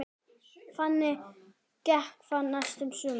Þannig gekk það næstu sumrin.